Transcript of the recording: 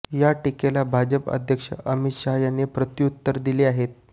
या टिकेला भाजप अध्यक्ष अमित शहा यांनी प्रत्यूउत्तर दिले आहे